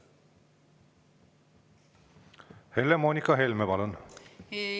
Helle-Moonika Helme, palun!